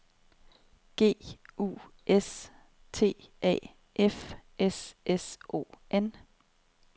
G U S T A F S S O N